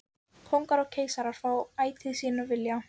Kóngar og keisarar fá ætíð sinn vilja.